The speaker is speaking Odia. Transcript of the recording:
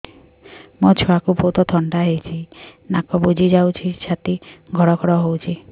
ମୋ ଛୁଆକୁ ବହୁତ ଥଣ୍ଡା ହେଇଚି ନାକ ବୁଜି ଯାଉଛି ଛାତି ଘଡ ଘଡ ହଉଚି